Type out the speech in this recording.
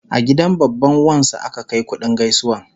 A gidan babban wan su aka Kai kuɗin gaisuwan